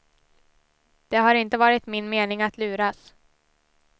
Det har inte varit min mening att luras.